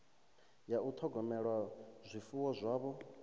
ya u ṱhogomela zwifuwo zwavho